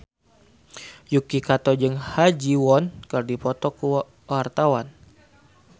Yuki Kato jeung Ha Ji Won keur dipoto ku wartawan